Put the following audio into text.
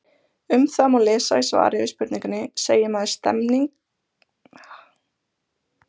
Um það má lesa í svari við spurningunni Segir maður stemming, stemning eða stemmning?